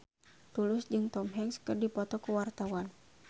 Tulus jeung Tom Hanks keur dipoto ku wartawan